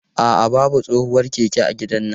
A'a, babu tsohuwar keke a gidannan.